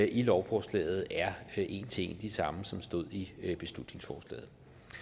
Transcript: i lovforslaget er en til en de samme som stod i beslutningsforslaget